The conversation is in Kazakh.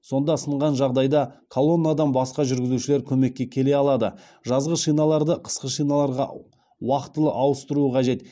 сонда сынған жағдайда колоннадан басқа жүргізушілер көмекке келе алады жазғы шиналарды қысқы шиналарға уақытылы ауыстыруы қажет